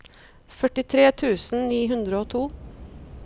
førtitre tusen ni hundre og to